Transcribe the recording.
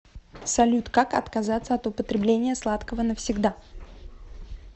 салют как отказаться от употребления сладкого навсегда